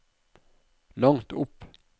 langt opp